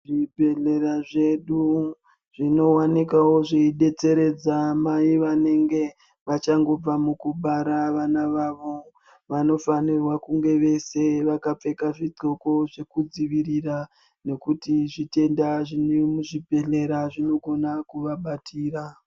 Zvibhehlera zvedu zvinowanikwawo zveidetseredza mai vanenge vachangobva mukubara vana vavo, vanofanirwa kunga veshe vakapfeka zvikudhloko zvekupfeka nekuti zvitenda zvemuzvibhedhlera zvinokona kuvabatira.